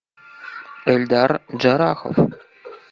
эльдар джарахов